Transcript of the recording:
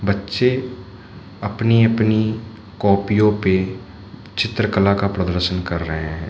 बच्चे अपनी अपनी कॉपियों पे चित्रकला का प्रदर्शन कर रहे हैं।